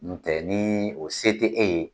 Ntɛ ni o se te e ye